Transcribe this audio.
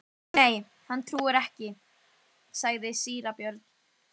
Kynlífsbindindi er talið gagnslaust og meira að segja skaðlegt.